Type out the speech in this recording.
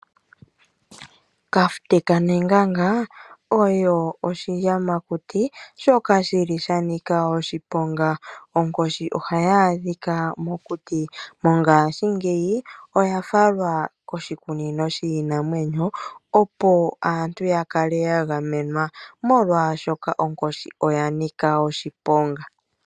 Kafute kaNenganga oyo oshiyamakuti shoka shi li sha nika oshiponga. Onkoshi ohayi adhika mokuti. Mongashingeyi oya falwa koshikunino shiinamwenyo, opo aantu ya kale ya gamenwa, molwashoka onkoshi oya nika oshiponga.